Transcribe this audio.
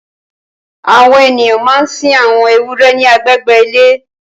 Awọn éniyàn mà n sin awọn éwùrè ni àgbégbé ilé